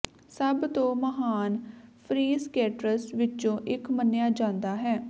ਸਭ ਤੋਂ ਮਹਾਨ ਫ਼੍ਰੀਸਕੇਟਰਸ ਵਿੱਚੋਂ ਇੱਕ ਮੰਨਿਆ ਜਾਂਦਾ ਹੈ